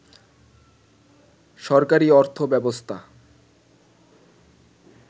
সরকারী অর্থব্যবস্থা